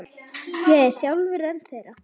Ég er sjálfur einn þeirra.